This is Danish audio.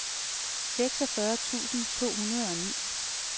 seksogfyrre tusind to hundrede og ni